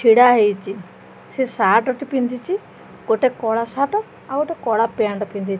ଛିଡ଼ା ହେଇଚି ସେ ସାଟ ଟି ପିନ୍ଧିଚି ଗୋଟେ କଳା ସାଟ ଆଉ ଗୋଟେ କଳା ପ୍ୟାଣ୍ଟ୍ ପିନ୍ଧି।